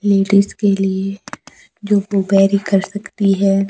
Ladies के लिए जो कर सकती है।